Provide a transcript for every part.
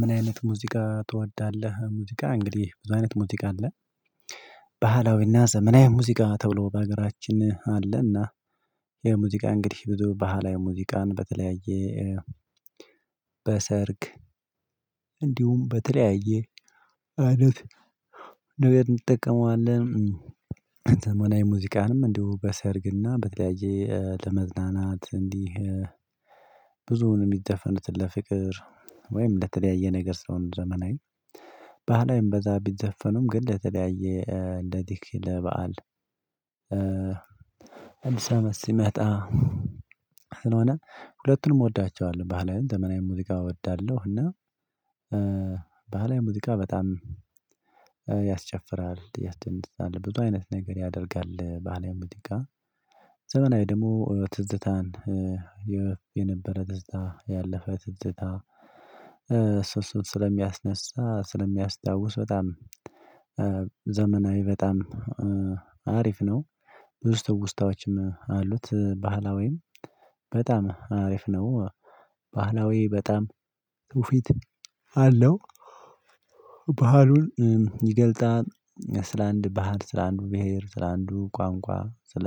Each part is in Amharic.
ምን አይነት ሙዚቃ ትወዳለህ? ሙዚቃ እንግዲህ ብዙ አይነት ሙዚቃ አለ። ባህላዊና ዘመናዊ ሙዚቃ ተብሎ በሀገራችን አለና። የሙዚቃ እንግዲህ ብዙ ባህላዊ ሙዚቃን በተለያየ በሰርግ እንዲሁም በተለያየ አለት እንጠቀመዋለን። ዘመናዊ ሙዚቃንም እንዲሁ በሰርግና በተለያየ ለመዝናናት እንዲህ ብዙውን የሚዘፈኑትን ለፍቅር ወይም ለተለያየ ነገር ሲሆን ዘመናዊ ባህላዊም ብዛት ቢዘፈኑም ግን ለተለያየ እንደ ዲኪ ለበአል በዓል እንሰመስ ሲመጣ ስለሆነ ሁለቱንም እወዳቸዋለሁ። ባህላዊ ዘመናዊ ሙዚቃ እወዳለሁ። እና ባህላዊ ሙዚቃ በጣም የትንሽ አለ ብዙ አይነት ነገር ያደርጋል። ባህላዊ ሙዚቃ ጋር ዘመናዊ ደግሞ ትዝታን የነበረ ደስታ ያለፈ ትዝታ ስብስብ ስለሚያስነሳ ስለሚያስታውስ በጣም ዘመናዊ በጣም አሪፍ ነው። ብዙ ትውስታዎችም አሉት። ባህላዊም በጣም አሪፍ ነው። ባህላዊ በጣም ትውፊት አለው። ባህሉን ስለ አንድ ባህል ስለ አንድ ብሄር ስለ አንድ ቋንቋ ስለ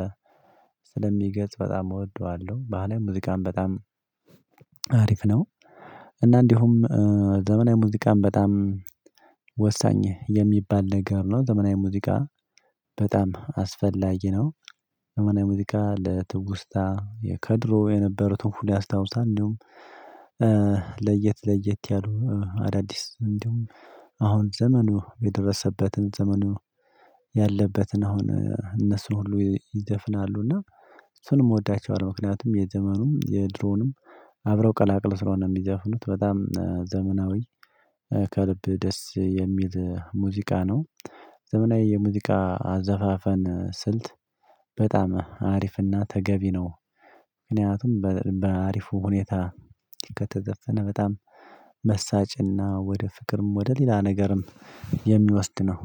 ስለሚገልጽ በጣም እወደዋለሁ። ባህላዊ ሙዚቃን በጣም አሪፍ ነው። እና እንዲሁም ዘመናዊ ሙዚቃን በጣም ወሳኝ የሚባል ነገር ነው። ዘመናዊ ሙዚቃ በጣም አስፈላጊ ነው። ዘመናዊ ሙዚቃ ለትውስታ የከድሮ የነበሩትን ፉል ያስታውሳል። እንዲሁም ለየት ለየት ያሉ አዳዲስ እንደውም አሁን ዘመኑ የደረሰበትን ዘመኑ ያለበትን አሁን እነሱን ሁሉ ይዘፍናሉና እሱንም እወዳቸዋለሁ። ምክንያቱም የዘመኑ የድሮውንም አብረው ቀላቅል ስለሆነ የሚዘፍኑት በጣም ዘመናዊ ከልብ ደስ የሚል ሙዚቃ ነው። ዘመናዊ የሙዚቃ አዘፋፈን ስልት በጣም አሪፍና ተገቢ ነው። ምክንያቱም በአሪፉ ሁኔታ ከተዘፈነ በጣም መሳጭና ወደ ፍቅርም ወደ ሌላ ነገርም የሚወስድ ነው።